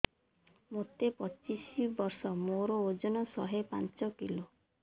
ମୋତେ ପଚିଶି ବର୍ଷ ମୋର ଓଜନ ଶହେ ପାଞ୍ଚ କିଲୋ